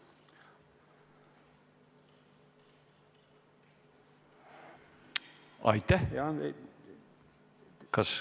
Aitäh!